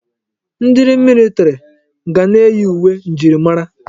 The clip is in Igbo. Ndi militiri ga na-eyi uwe njirimara.